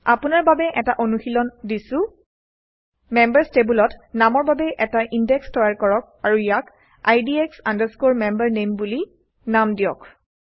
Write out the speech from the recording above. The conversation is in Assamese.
আপোনৰ বাবে এটা অনুশীলন দিছোঁ মেম্বাৰচ্ টেবুলত নামৰ বাবে এটা ইনডেক্স তৈয়াৰ কৰক আৰু ইয়াক IDX MemberName বুলি নাম দিয়ক